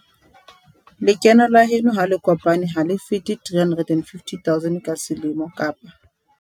Lekeno la heno ha le kopane ha le fete R350 000 ka selemo kapa